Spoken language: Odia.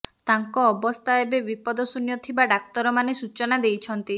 ତାଙ୍କ ଅବସ୍ଥା ହେବେ ବିପଦଶୂନ୍ୟ ଥିବା ଡାକ୍ତରମାନେ ସୂଚନା ଦେଇଛନ୍ତି